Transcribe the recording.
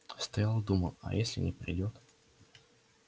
стоял и думал а если не придёт